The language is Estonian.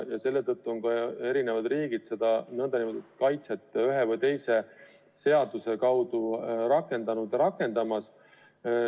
Selle tõttu on riigid seda kaitset ühe või teise seaduse abil rakendanud ja rakendamas.